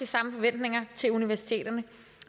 samme forventninger til universiteterne